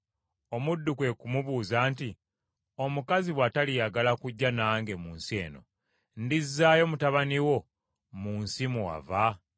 Omuddu kwe ku mubuuza nti, “Omukazi bw’ataliyagala kujja nange mu nsi eno, ndizzaayo mutabani wo mu nsi mwe wava?”